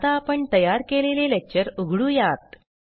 आता आपण तयार केलेले लेक्चर उघडुयात